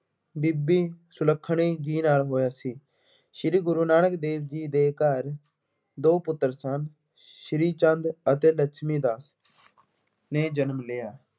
ਬੀਬੀ ਸੁਲੱਖਣੀ ਜੀ ਨਾਲ ਹੋਇਆ ਸੀ। ਸ਼੍ਰੀ ਗੁਰੂ ਨਾਨਕ ਦੇਵ ਜੀ ਦੇ ਘਰ ਦੋ ਪੁੱਤਰ ਸਨ, ਸ੍ਰੀ ਚੰਦ ਅਤੇ ਲਛਮੀ ਦਾਸ ਨੇ ਜਨਮ ਲਿਆ।